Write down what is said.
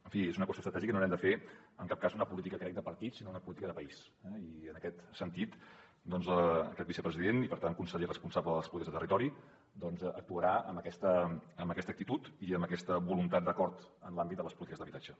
en fi és una qüestió estratègica i no n’hem de fer en cap cas una política crec de partits sinó una política de país eh i en aquest sentit aquest vicepresident i per tant conseller responsable de les polítiques de territori doncs actuarà amb aquesta actitud i amb aquesta voluntat d’acord en l’àmbit de les polítiques d’habitatge